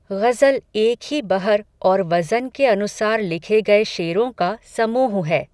ग़ज़ल एक ही बहर और वज़न के अनुसार लिखे गए शेरों का समूह है